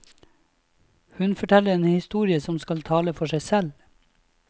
Hun forteller en historie som skal tale for seg selv.